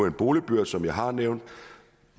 en boligbørs som jeg har nævnt